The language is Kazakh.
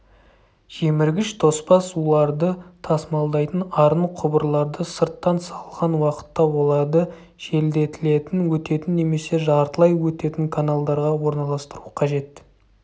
жеміргіш тоспа суларды тасымалдайтын арын құбырларды сырттан салған уақытта оларды желдетілетін өтетін немесе жартылай өтетін каналдарға орналастыру қажет